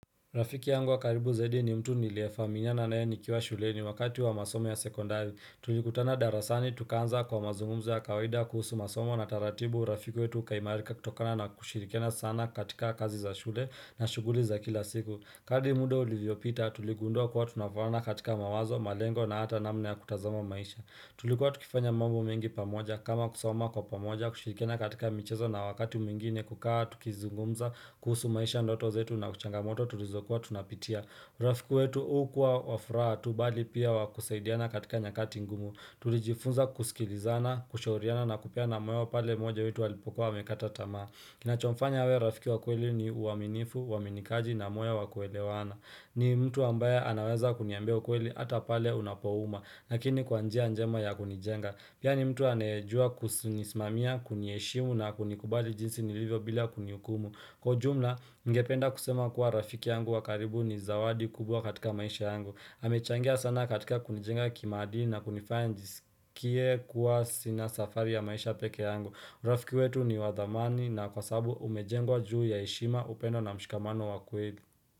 Rafiki yangu wa karibu zaidi ni mtu niliyefahamiana naye nikiwa shuleni wakati wa masomo ya sekondari. Tulikutana darasani tukaanza kwa mazungumzo ya kawaida kuhusu masomo na taratibu. Urafiki wetu ukaimarika kutokana na kushirikiana sana katika kazi za shule na shughuli za kila siku. Kadri muda ulivyopita tuligundua kuwa tunafaana katika mawazo, malengo na hata namna ya kutazama maisha. Tulikua tukifanya mambo mengi pamoja kama kusoma kwa pamoja kushirikiana katika michezo na wakati mwingine tukawa tukizungumza, kuhusu maisha ndoto zetu na changamoto tulizokua tunapitia urafiku wetu hukuwa wa furaha tu bali pia wakusaidiana katika nyakati ngumu Tulijifunza kusikilizana, kushauriana na kupeana moyo pale mmoja wetu alipokuwa amekata tamaa Kinachomfanya awe rafiki wa kweli ni uaminifu, uaminikaji na moyo wa kuelewana ni mtu ambaye anaweza kuniambia ukweli hata pale unapouma Lakini kwa njia njema ya kunijenga. Pia ni mtu anaejua kunisimamia kuniheshimu na kunikubali jinsi nilivyo bila kunihukumu Kwa jumla, ningependa kusema kuwa rafiki yangu wa karibu ni zawadi kubwa katika maisha yangu amechangia sana katika kunijenga kimadili na kunifaya nijisikie kuwa sina safari ya maisha peke yangu. Urafiki wetu ni wa dhamani na kwa sababu umejengwa juu ya heshima, upendo na mshikamano wa kweli.